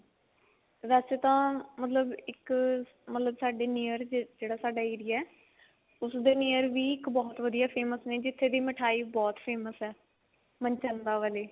ਵੇਸੇ ਤਾਂ ਮਤਲਬ ਇੱਕ ਮਤਲਬ ਸਾਡੇ near ਸਾਡਾ ਜਿਹੜਾ area ਉਸਦੇ near ਵੀ ਇੱਕ ਬਹੁਤ ਵਧੀਆ famous ਨੇ ਜਿੱਥੇ ਦੀ ਮਿਠਾਈ ਬਹੁਤ famous ਹੈ ਮਨਚੰਦਾ ਵਾਲੇ